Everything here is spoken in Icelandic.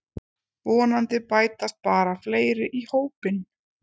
Vonandi bætast bara fleiri í hópinn